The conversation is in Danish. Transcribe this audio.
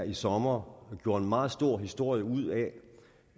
i sommer gjorde en meget stor historie ud af